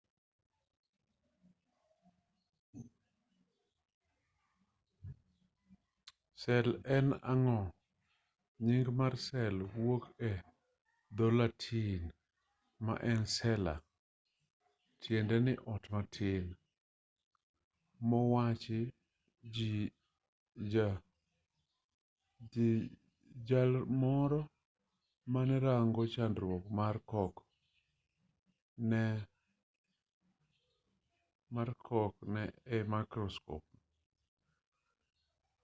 sel en ang'o nying mar sel wuok e dho-latin ma en cella tiende ni ot matin manowachi gi jal moro mane rango chanruok mar cork e maikroskop